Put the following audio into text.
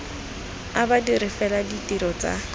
a badiri fela ditiro tsa